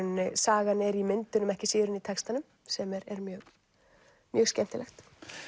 sagan er í myndunum ekki síður en í textanum sem er mjög mjög skemmtilegt